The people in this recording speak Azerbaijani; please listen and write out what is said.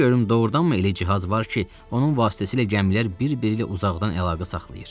De görüm doğurdanmı elə cihaz var ki, onun vasitəsilə gəmilər bir-biri ilə uzaqdan əlaqə saxlayır?